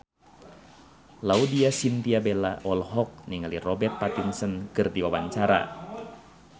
Laudya Chintya Bella olohok ningali Robert Pattinson keur diwawancara